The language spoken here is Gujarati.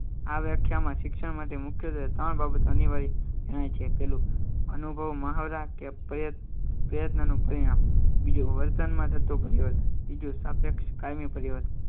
આ વ્યાખ્યામાં શિક્ષણ માટે મુખ્યત્વે ત્રણ બાબતો અનિવાર્ય છે પેલું અનુભવ મહાવરા કે પ્રયત્ન નું પરિણામ બીજું વર્તનમાં થતો કર્યો હતો સાપેક્ષ કાયમી પરિવાર